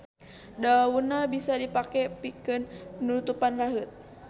Daunna bisa dipake pikeun nutupan raheut.